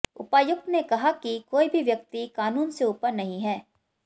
उपायुक्त ने कहा कि कोई भी व्यक्ति कानून से ऊपर नहीं है